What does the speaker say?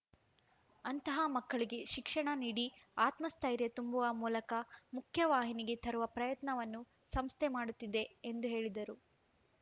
ಅಂತಹ ಮಕ್ಕಳಿಗೆ ಶಿಕ್ಷಣ ನೀಡಿ ಆತ್ಮಸ್ಥೈರ್ಯ ತುಂಬುವ ಮೂಲಕ ಮುಖ್ಯ ವಾಹಿನಿಗೆ ತರುವ ಪ್ರಯತ್ನವನ್ನು ಸಂಸ್ಥೆ ಮಾಡುತ್ತಿದೆ ಎಂದು ಹೇಳಿದರು